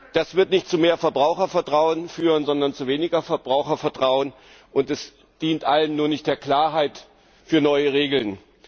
Das wird nicht zu mehr Verbrauchervertrauen führen, sondern zu weniger Verbrauchervertrauen, und es dient allen, nur nicht der Klarheit für neue Regeln.